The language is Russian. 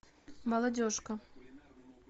молодежка